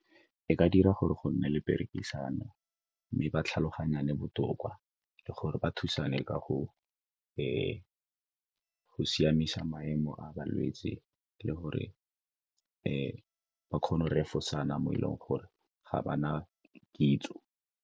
E ka dira gore go nne le perekisano, mme ba tlhaloganyane botoka, le gore ba thusane ka go siamisa maemo a balwetse le gore ba kgone go refosana mo e leng gore ga ba na kitso.